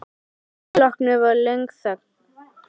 Að því loknu varð löng þögn.